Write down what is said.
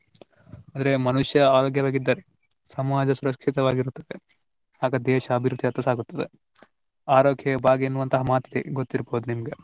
ಆದ್ರೆ ಮನುಷ್ಯ ಆರೋಗ್ಯವಾಗಿದ್ದರೆ ಸಮಾಜ ಸುರಕ್ಷಿತವಾಗಿರುತ್ತದೆ ಆಗ ದೇಶ ಅಭಿವೃದ್ಧಿಯತ್ತ ಸಾಗುತ್ತದೆ. ಆರೋಗ್ಯವೇ ಭಾಗ್ಯ ಎನ್ನುವಂತಹ ಮಾತಿದೆ ಗೊತ್ತಿರಬಹುದು ನಿಮ್ಗೆ.